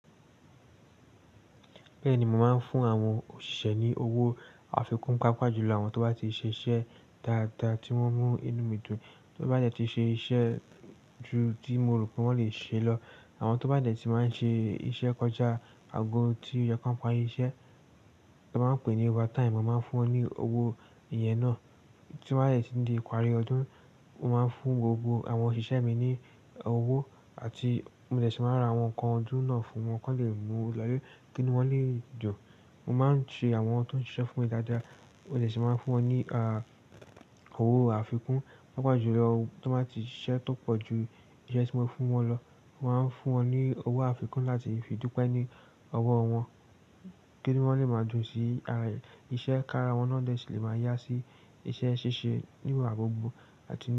Bẹ́ẹ̀ni, mo máa ń fún àwọn òṣìṣẹ́ ní owó àfikún, pàápàá jùlọ àwọn tó bá ti ṣe iṣẹ́ dáadáa tí wọ́n mú inú mi dùn, ti won bá dẹ́ ti ṣe iṣẹ́ ju tí mo rò pé wọ́n lè ṣe lọ, àwọn tó bá dẹ́ ti máa ń ṣe iṣẹ́ kọjá ago tí oo yẹ ki won pári iṣẹ́, wọn máa ń pè é ní overtime. Mo máa ń fún wọn ní owó ìyẹn náà. Tí wọ́n bá dẹ́ ti di ìparí ọdún, mo máa ń fún gbogbo àwọn òṣìṣẹ́ mi ní owó àti mo dẹ̀ tun máa ra àwọn nǹkan ọdún náà fún wọn kí wọ́n lè mu lo ilẹ́ ki inu wọ́n lè dun. Mo máa ń ṣe àwọn tó ń ṣiṣẹ́ fún mi dáadáa, mo dẹ̀ tíì máa ń fún wọn ní a, owó àfikún, pàápàá jùlọ ti won bá ti ṣiṣẹ́ tó pọ̀ ju iṣẹ́ tí mo fi fún wọn lọ. Mo máa ń fún wọn ní owó àfikún láti fi dúpẹ́ ní ọwọ́ wọn kí inu wọ́n lè máa dùn sí ara è, iṣẹ́ ki ára wọn náà tìí lè máa yá sí iṣẹ́ ṣíṣe ní ìgbà gbogbo àti.